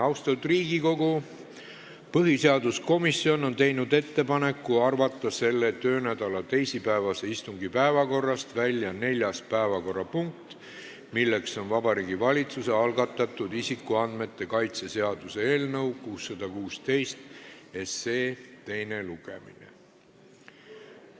Austatud Riigikogu, põhiseaduskomisjon on teinud ettepaneku arvata selle töönädala teisipäevase istungi päevakorrast välja neljas päevakorrapunkt, Vabariigi Valitsuse algatatud isikuandmete kaitse seaduse eelnõu 616 teine lugemine.